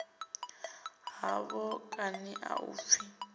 hafho kani a u pfi